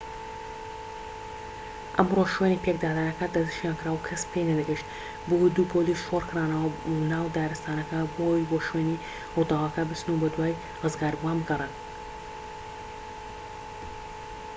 ئەمڕۆ شوێنی پێکدادانەکە دەسنیشانکرا و کەس پێی نەدەگەیشت بۆیە دوو پۆلیس شۆڕکرانەوە ناو دارستانەکە بۆ ئەوەی بۆ شوێنی ڕووداوەکە بچن و بەدوای ڕزگاربووان بگەڕێن